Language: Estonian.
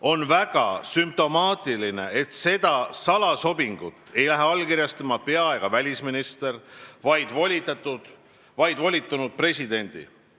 On väga sümptomaatiline, et seda salasobingut ei lähe allkirjastama pea- ega välisminister, vaid on volitanud presidendi.